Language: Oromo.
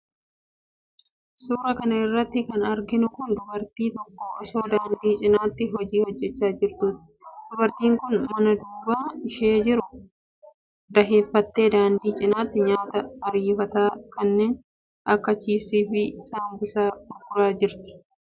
Suura kana irratti kan arginu kun, dubartiin tokko osoo daandii cinaatti hojii hojjachaa jirtuuti. Dubartiin kun, mana duuba ishee jiru daheeffattee, daandii cinaattii nyaata ariifataa kanneen akka :chipsii fi saambusaa gurguraa jirti.